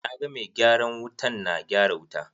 Na ga mai gyaran wutan na gyara wuta.